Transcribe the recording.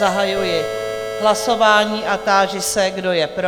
Zahajuji hlasování a táži se, kdo je pro?